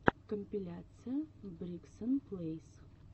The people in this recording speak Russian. компиляция бригсон плэйс